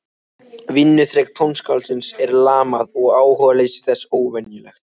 Vinnuþrek tónskáldsins er lamað og áhugaleysi þess óvenjulegt.